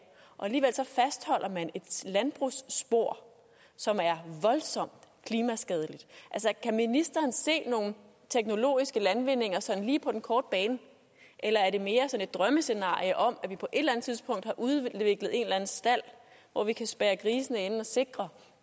og alligevel fastholder man et landbrugsspor som er voldsomt klimaskadeligt altså kan ministeren se nogle teknologiske landvindinger sådan lige på den korte bane eller er det mere sådan et drømmescenarie om at vi på et eller andet tidspunkt har udviklet en eller anden stald hvor vi kan spærre grisene inde og sikre